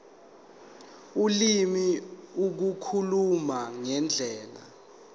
ulimi ukukhuluma ngendlela